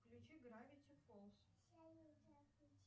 включи гравити фолз